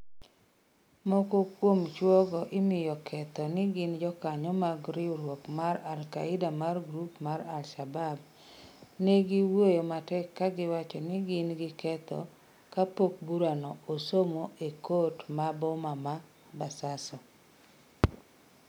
Moko kuom chwo go imiyogi ketho ni gin jokanyo mag riwruok mar al-Qaaeda mar grup mar al-Shabab, negiwuoyo matek ka giwacho ni gin gi ketho kapok burano osomo e kot ma boma ma Basaso.